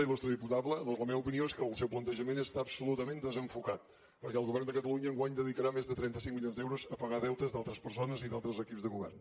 iltada doncs la meva opinió és que el seu plantejament està absolutament desenfocat perquè el govern de catalunya enguany dedicarà més de trenta cinc milions d’euros a pagar deutes d’altres persones i d’altres equips de govern